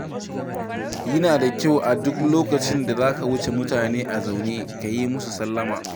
Yana da kyau a duk lokacin da za ka wuce mutane a zaune ka yi musu sallama.